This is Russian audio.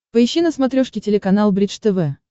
поищи на смотрешке телеканал бридж тв